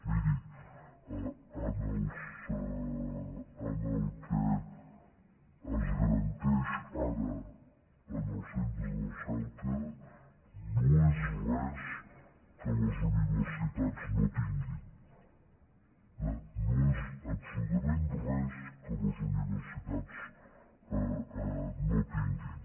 miri el que es garanteix ara en els centres de recerca no és res que les universitats no tinguin no és absolutament res que les universitats no tinguin